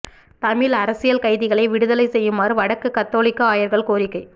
தமிழ் அரசியல் கைதிகளை விடுதலை செய்யுமாறு வடக்கு கத்தோலிக்க ஆயர்கள் கோரிக்கை